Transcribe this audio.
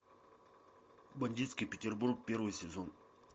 бандитский петербург первый сезон